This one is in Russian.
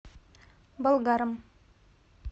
болгаром